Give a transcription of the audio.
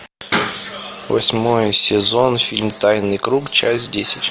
восьмой сезон фильм тайный круг часть десять